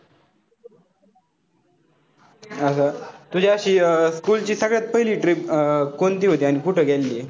तुझ्या school ची सगळ्यात पहिली trip अं कोणती होती आणि कुठे गेलेली?